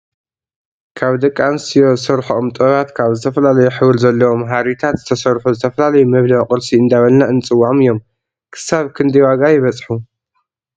ካብ ደቂ ኣንስትዮ ዝሰርሐኦም ጥበባት ካብ ዝተፈላለዩ ሕብሪ ዘለዎም ሃሪታት ዝተሰርሑ ዝተፈላለዩ መብልዒ ቁርሲ እንዳበልና እንፀዎዖ እዮም። ክሳብ ክዳይ ዋጋ የበፅሑ ?